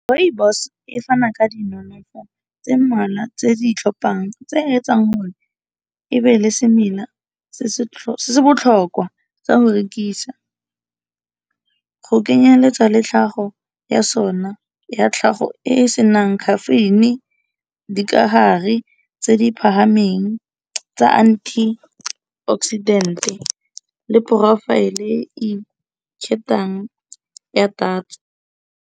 Rooibos e fana ka di nonofo tse mmalwa tse di i tlhopang tse yetsang hore ebe le semela se se botlhokwa tsa go rekisa. Go kenyeletsa le tlhago ya sona ya tlhago e e senang caffeine-i, dikahare tse di phahameng tsa anti oxidant le profile e ya tatso.